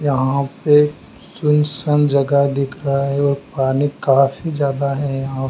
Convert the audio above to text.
यहां पे सुनसान जगह दिख रहा है और पानी काफी ज्यादा है यहां।